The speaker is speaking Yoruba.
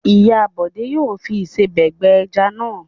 Ìyá Bọ̀dé yóò fi ìsebẹ̀ gbẹ ẹja náà.